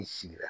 I sigira